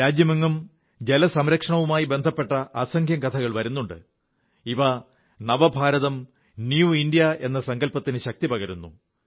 രാജ്യമെങ്ങും ജലംസംരക്ഷണവുമായി ബന്ധപ്പെട്ട അസംഖ്യം കഥകൾ വരുന്നുണ്ട് ഇവ പുതുഭാരതം ന്യൂ ഇന്ത്യ എന്ന സങ്കൽപ്പത്തിന് ശക്തിപകരുന്നു